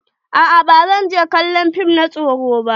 A'a ba zan je kallon fim na tsoro ba.